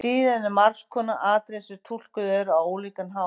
Síðan eru margs konar atriði sem túlkuð eru á ólíkan hátt.